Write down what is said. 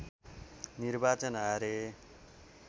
निर्वाचन हारे